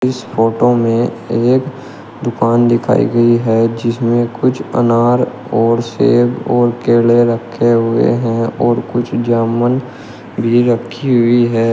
इस फोटो में एक दुकान दिखाई गई है जिसमें कुछ अनार और सेब और केले रखे हुए हैं और कुछ जामुन भी रखी हुई है।